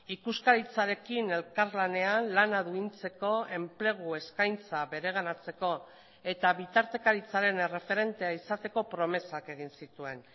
ikuskaritzarekin elkarlanean lana duintzeko enplegu eskaintza bereganatzeko eta bitartekaritzaren erreferentea izateko promesak egin zituen